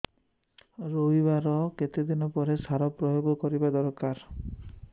ରୋଈବା ର କେତେ ଦିନ ପରେ ସାର ପ୍ରୋୟାଗ କରିବା ଦରକାର